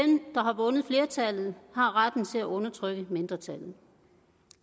har vundet flertallet har retten til at undertrykke mindretallet